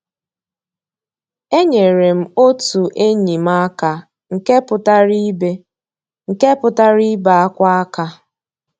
Ényéré m ótú ényí m àká nkè pụ́tárá ìbé nkè pụ́tárá ìbé ákwá àká.